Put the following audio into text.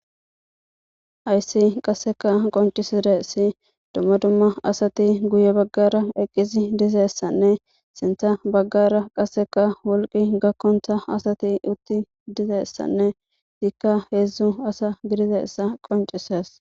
Hayssi qasseka qoncisire si dumma dumma asati guye baggara eqqisi dizeessanne sinta baggara qasseka wolqi gakkonta asati utti dizeessanne hiikka heedzdzu asa gidize issa qoncises.